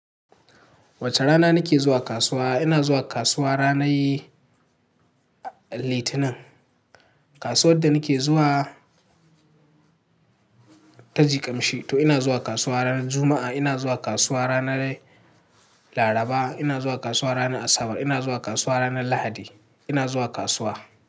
Wace rana nake zuwa kasuwa? Ina zuwa kasuwa ranar Litinin. Kasuwar da nake zuwa ta Jikin Shitu. Ina zuwa kasuwa ranar Juma'a, ina zuwa kasuwa ranar Laraba, ina zuwa kasuwa ranar Asabar, ina zuwa kasuwa ranar Lahadi. Ina zuwa kasuwa.